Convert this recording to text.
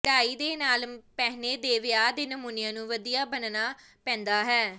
ਕਢਾਈ ਦੇ ਨਾਲ ਪਹਿਨੇ ਦੇ ਵਿਆਹ ਦੇ ਨਮੂਨਿਆਂ ਨੂੰ ਵਧੀਆਂ ਬਣਨਾ ਪੈਂਦਾ ਹੈ